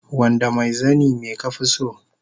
Wanda mai zani me ka fi so